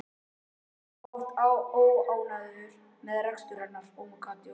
Ég var oft óánægður með rekstur hennar.